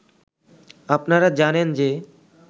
আপনারা জানেন যে